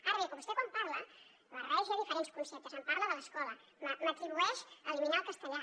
ara bé vostè quan parla barreja diferents conceptes em parla de l’escola m’atribueix eliminar el castellà